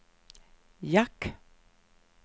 jack